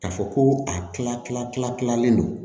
Ka fɔ ko a kila kila tila kilalen don